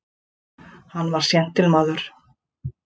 Hann var séntilmaður.